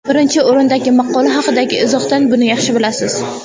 Birinchi o‘rindagi maqola haqidagi izohdan buni yaxshi bilasiz.